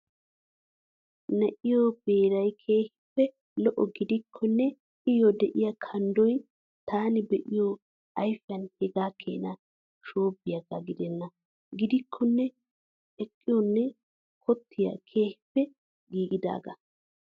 Na'eeyyo very keehiippe lo"o gidikkonne Iyyoo de'iyaa kannddoy taani be'ido ayfiyaan hegaa Keena shoobbiyaagaa gidenna. Gidikkonne eqqoynne kottay keehiippe giigidaagaa.